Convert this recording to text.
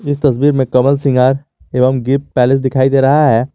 इस तस्वीर में कमल श्रृंगार एवं गिफ्ट पैलेस दिखाई दे रहा है।